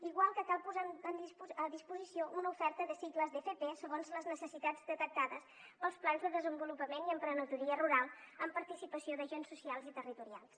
igual que cal posar a disposició una oferta de cicles d’fp segons les necessitats detectades pels plans de desenvolupament i emprenedoria rural amb participació d’agents socials i territorials